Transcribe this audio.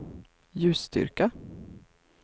ljusstyrka